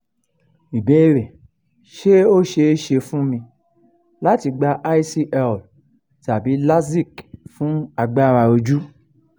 ìbéèrè: ṣé ó ṣeé ṣe fún mi láti gba icl tàbí lasik fún agbára ojú?